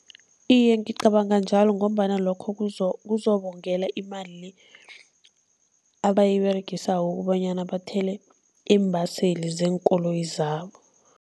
Iye, ngicabanga njalo ngombana lokho kuzobongela imali le abayiberegisako ukobanyana bathele iimbaseli zeenkoloyi zabo.